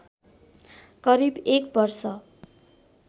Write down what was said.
करिब एक वर्ष